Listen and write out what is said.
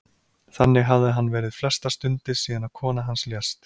Þannig hafði hann verið flestar stundir síðan að kona hans lést.